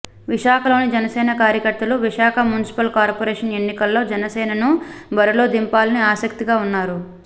విశాఖలోని జనసేన కార్యకర్తలు Visakha municipal corporation ఎన్నికల్లో జనసేనను బరి లో దింపాలని ఆసక్తి గా ఉన్నారు